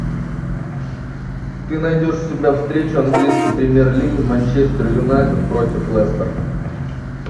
ты найдешь у себя встречу английской премьер лиги манчестер юнайтед против лестер